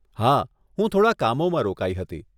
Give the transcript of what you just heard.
હા, હું થોડાં કામોમાં રોકાઈ હતી.